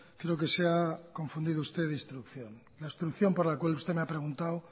creo que se ha confundido de instrucción la instrucción por la cual usted me ha preguntado